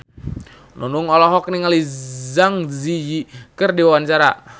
Nunung olohok ningali Zang Zi Yi keur diwawancara